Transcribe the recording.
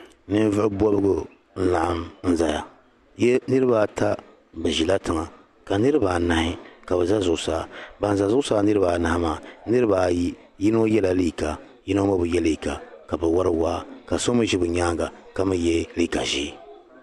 Paɣisaribila m-ba cheche ka pili piɛɣu ka pa dari ka baɣili bihi ayi yino ʒila cheche maa tooni ka yino be o nyaaŋa ka ɡbaaɡi o ɡbubi ka bɛ zaa mali zabiri